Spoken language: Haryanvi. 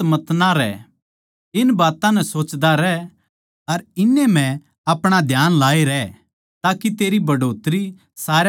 इन बात्तां नै सोचदा रह अर इन्नै म्ह अपणा ध्यान लाये रह ताके तेरी बढ़ोतरी सारया पै दिख जावै